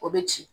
O bɛ ci